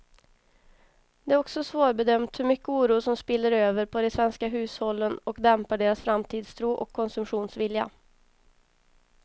Det är också svårbedömt hur mycket oro som spiller över på de svenska hushållen och dämpar deras framtidstro och konsumtionsvilja.